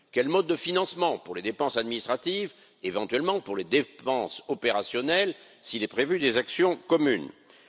Quel mode de financement pour les dépenses administratives, éventuellement pour les dépenses opérationnelles, si des actions communes sont prévues?